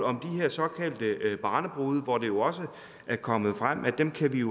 om de her såkaldte barnebrude hvor det jo også er kommet frem at dem kan vi